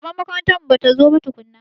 Shugaban makarantar mu batazo ba tukunna.